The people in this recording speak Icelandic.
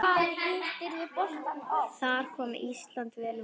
Þar kom Ísland vel út.